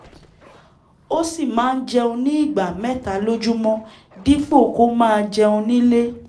ó sì máa ń jẹun ní ìgbà mẹ́ta lójúmọ́ dípò kó máa jẹun nílé